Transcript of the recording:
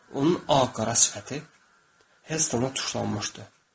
Onun ağ-qara sifəti Helttona tuşlanmışdı.